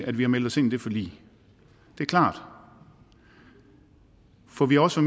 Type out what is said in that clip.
at vi har meldt os ind i det forlig det er klart for vi har også